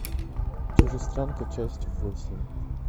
чужестранка часть восемь